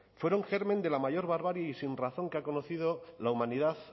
fueron germen de la mayor barbarie y sinrazón que ha conocido la humanidad